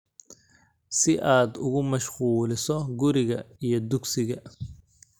Si aad ugu mashquuliso guriga iyo dugsiga.